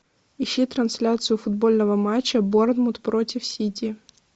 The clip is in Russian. ищи трансляцию футбольного матча борнмут против сити